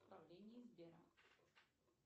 управление сбера